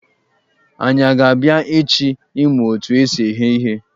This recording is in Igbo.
Anyị a ga-abịa echi ịmụ otu esi eghe ihe?